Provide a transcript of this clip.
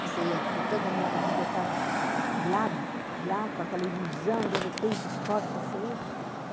Porque toda a minha vida estava lá, lá, com aquela ilusão, de repente corta-se aí.